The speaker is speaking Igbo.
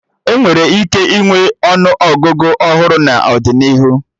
Enwere ike ịnwe ọnụ Ọgụgụ ọhụrụ n'ọdịnihu